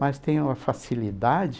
Mas tenho uma facilidade.